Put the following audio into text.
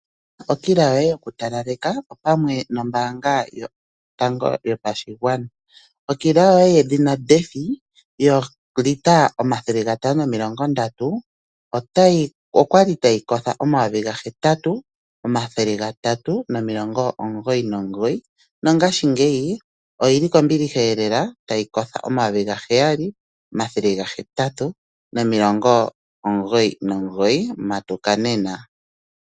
Okila yoye yokutalaleka opamwe nombaanga yotango yopashigwana. Okila yoye yedhina Defy yoolitela530 okwali tayi koho oN$8399 nongashingeyi oyili kombiliheelela tayi koho oN$7899, matuka nena!